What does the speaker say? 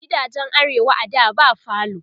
gidajen arewa a da ba falo